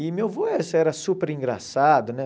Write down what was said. E meu avô era era super engraçado, né?